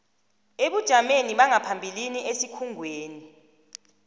ebujameni bangaphambilini esikhungweni